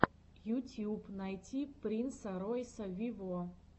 ютьюб найти принса ройса виво